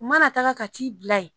U mana taga ka t'i bila ye